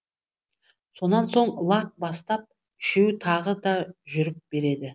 сонан соң лақ бастап үшеуі тағы да жүріп береді